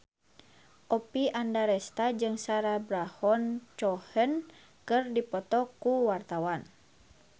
Oppie Andaresta jeung Sacha Baron Cohen keur dipoto ku wartawan